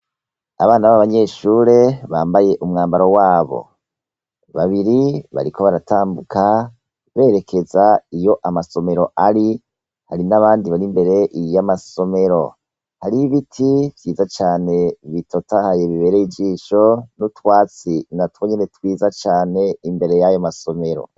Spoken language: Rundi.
Abana b'abanyeshure, bambaye umwambaro w'abo .Babiri bariko baratambuka berekeza iyo amasomero ari. Hari n'abandi bar'imbere y'amasomero. Hariho ibiti vyiza cane bitotahaye bibereye ijisho, n'utwatsi natwo nyene twiza cane imbere y'ayo masomero.